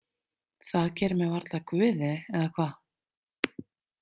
Það gerir mig varla að guði, eða hvað?